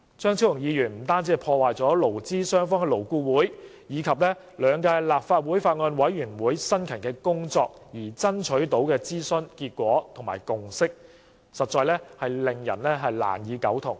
張超雄議員的修正案破壞了勞資雙方在勞顧會及兩屆立法會法案委員會辛勤工作而爭取到的諮詢成果和共識，令人難以苟同。